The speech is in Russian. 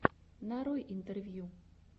нарой интервью